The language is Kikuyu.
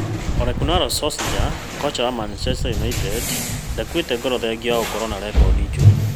Ole kunnar Solskjaer: Koca wa Man united ndakuĩte ngoro thengia wa gũkorwo na rekondi njũru